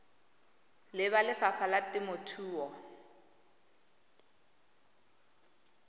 le ba lefapha la temothuo